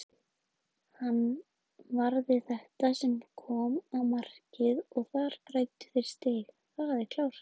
Hann varði þetta sem kom á markið og þar græddu þeir stig, það er klárt.